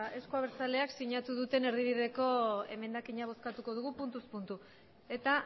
eusko abertsaleak sinatu duten erdibideko emendakina bozkatuko dugu puntuz puntu eta